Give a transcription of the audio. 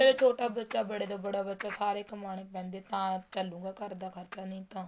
ਛੋਟੋ ਬੱਚਾ ਬੜੇ ਤੋ ਬੜਾ ਬੱਚਾ ਸਾਰੇ ਕਮਾਣੇ ਪੈਂਦੇ ਤਾਂ ਚੱਲੂਗਾ ਘਰ ਦਾ ਖਰਚਾ ਨਹੀਂ ਤਾਂ